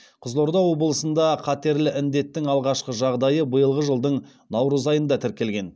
қызылорда облысында қатерлі індеттің алғашқы жағдайы биылғы жылдың наурыз айында тіркелген